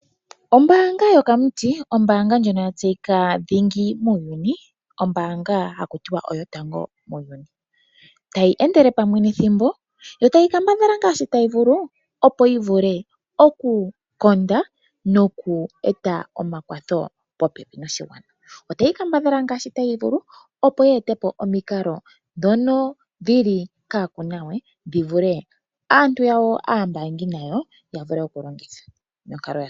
Ombaanga yokamuti, ombaanga ndjoka ya tseyika dhingi muuyuni, ombaanga haku tiwa oyotango muuyuni, tayi endele pamwe nethimbo, yo tayi kambadhala ngaashi tayi vulu, opo yi vule okukonda nokueta omakwatho popepi noshigwana. Otayi kambadhala ngaashi tayi vulu opo yi ete po omikalo ndhono dhi li kaakunawe dhi vule aantu yawo aambaangi nayo ya vule okudhilongitha.